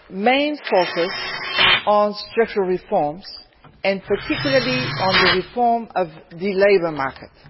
main focus on structural reforms, and particularly on the reform of the labour market.